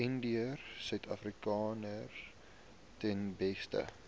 indiërsuidafrikaners ten beste